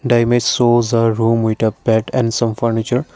the image shows a room with a bed and some furniture.